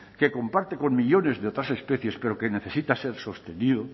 que comparte con millónes de otras especies pero que necesita ser sostenido